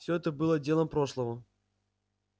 всё это было делом прошлого